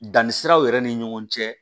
Danni siraw yɛrɛ ni ɲɔgɔn cɛ